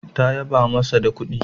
Ta yaba masa da kudi